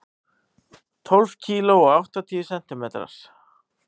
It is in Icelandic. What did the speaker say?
Tólf kíló og áttatíu sentimetrar.